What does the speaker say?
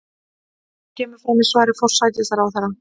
Þetta kemur fram í svari forsætisráðherra